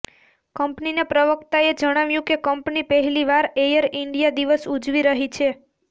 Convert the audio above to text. કંપનીના પ્રવક્તાએ જણાવ્યુ કે કંપની પહેલીવાર એયર ઈંડિયા દિવસ ઉજવી રહી છે